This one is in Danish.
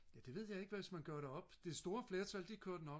ja det ved jeg ikke hvis man gjorde det op det store flertal det kørte nok